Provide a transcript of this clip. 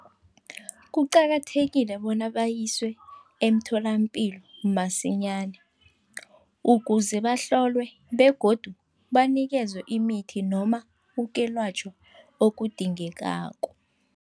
Kuqakathekile bona bayiswe emtholapilo msinyana, ukuze bahlolwe begodu banikezwe imithi noma ukwelatjhwa okudingekako.